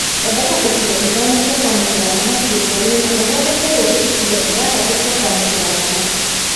Thondeka icigo ithano cia kwamũkĩra thamaki gĩcũa-inĩ na ũthondeke rĩngĩ icigo ithathatũ cia kwamũkĩra thamaki